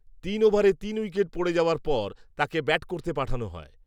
তিন ওভারে তিন উইকেট পড়ে পড়ে যাওয়ার পর তাকে ব্যাট করতে পাঠানো হয়